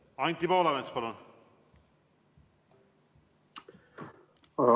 Anti Poolamets, palun!